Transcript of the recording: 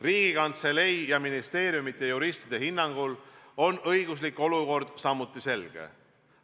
Riigikantselei ja ministeeriumide juristide hinnangul on samuti õiguslik olukord selge.